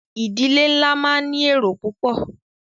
Ìdílé nlá máa ní èrò púpọ̀.